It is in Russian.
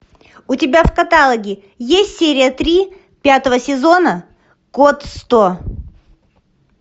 у тебя в каталоге есть серия три пятого сезона код сто